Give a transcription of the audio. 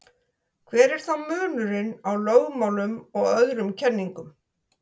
hver er þá munurinn á lögmálum og öðrum kenningum